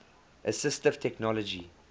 assistive technology